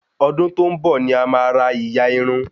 Ọdún tó n bọ ní a má ra ìyà Irun